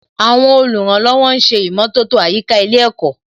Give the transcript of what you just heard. Àwọn olùrànlọ́wọ̀ ń ṣe ìmọ̀tótó àyíká ilé ẹ̀kọ́